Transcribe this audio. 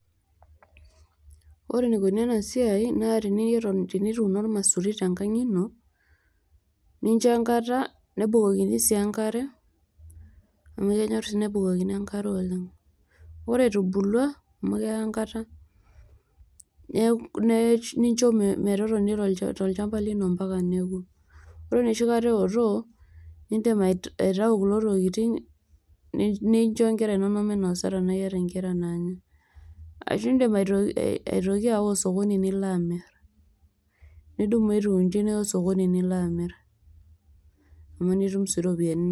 ore enaikoni ena siai naa tenie tenituuno ormaisuri tenkang ino ,nincho enkata nebukokini sii enkare amu kenyor sii nebukokini enkare oleng . ore etubulua amu keya enkata neku nincho metotoni tolchamba lino ompaka neku . ore enoshi kata eotok ,nindim aitayu kulo tokitin nincho inkera inonok minosa tenaa iyata inkera naanya . ashu indim aito aitoki aawa osokoni nilo amir ,nidumu atiu inji niya osokoni nilo amir amu nitum sii iropiyiani inonok.